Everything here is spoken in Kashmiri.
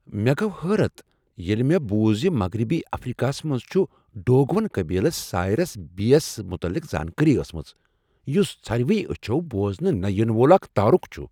مےٚ گوٚو حٲرتھ ییٚلہ مےٚ بوٗز ز مغربی افریكا ہس منٛز چھ ڈوگون قبیلس سایریس بی یس متعلق زانٛکٲری ٲسمٕژ ، یٗس ژھرِوٕیہ اچھو بوزنہٕ نہٕ ینہٕ وول اكھ تارٖٗکھ چھٗ ۔